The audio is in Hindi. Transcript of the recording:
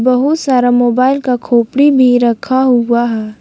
बहुत सारा मोबाइल का खोपड़ी भी रखा हुआ है।